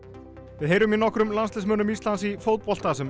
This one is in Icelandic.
við heyrum í nokkrum landsliðsmönnum Íslands í fótbolta sem